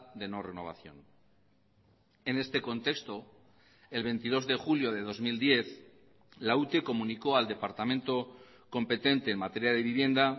de no renovación en este contexto el veintidós de julio de dos mil diez la ute comunicó al departamento competente en materia de vivienda